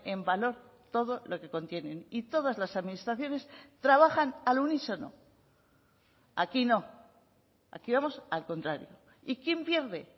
en valor todo lo que contienen y todas las administraciones trabajan al unísono aquí no aquí vamos al contrario y quién pierde